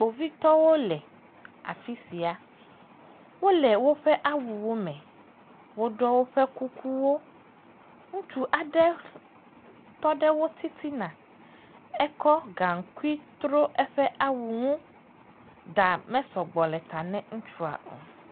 Kpovitɔwo le afi sia, wole woƒe awuwo me, woɖɔ kukuwo. Ŋutsu aɖe tɔ ɖe woƒe titina, ekɔ gaŋkui tro eƒe awu ŋu, ɖa mesɔ gbɔ le ta ne ŋutsua o.